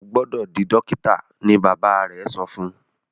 o gbódò dì dókítà! ní bàbá rẹ so fún.